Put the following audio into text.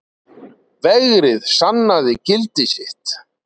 Vegrið sannaði gildi sitt